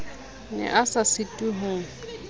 ne a sa sitwe ho